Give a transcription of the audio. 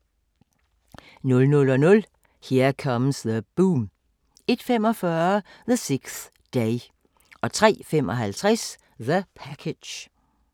00:00: Here Comes the Boom 01:45: The 6th Day 03:55: The Package